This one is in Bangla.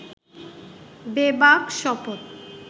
বেবাক শপথ